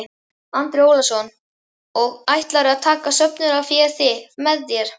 Andri Ólafsson: Og ætlarðu að taka söfnunarféð með þér?